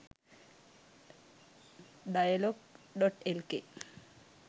dialog.lk